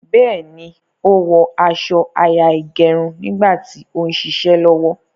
Béèni, ó wó aso àyà ìgẹrun nígbà tí ó ń ṣiṣẹ́ lọ́wọ́.